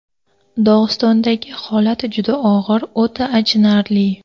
Dog‘istondagi holat juda og‘ir, o‘ta achinarli.